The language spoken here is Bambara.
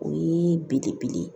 O ye belebele ye